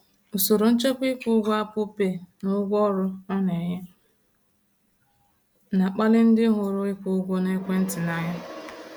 Usoro nchekwa ịkwụ ụgwọ Apple Pay na ụgwọ ọrụ ọ na-enye na-akpali ndị hụrụ ịkwụ ụgwọ n’ekwentị n’anya.